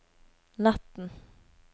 natten